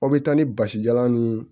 Aw bɛ taa ni basijalan nii